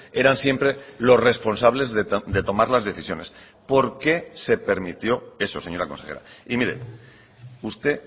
eran siempre los responsables de tomar las decisiones por qué se permitió eso señora consejera y mire usted